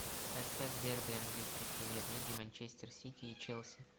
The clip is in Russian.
поставь дерби английской премьер лиги манчестер сити и челси